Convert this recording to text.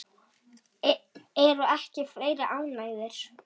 Eru ekki fleiri ánægðir?